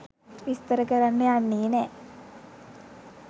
විස්තර කරන්න යන්නේ නෑ.